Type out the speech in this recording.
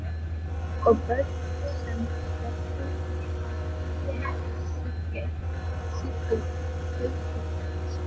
Og börn sem hverfa, er það ekki sígild huldufólkssaga?